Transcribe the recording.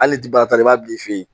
Hali bagatɔ i b'a bila i fe yen